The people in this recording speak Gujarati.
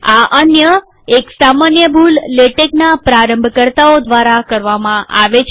આ અન્ય એક સામાન્ય ભૂલ લેટેકના પ્રારંભકરતાઓ દ્વારા કરવામાં આવે છે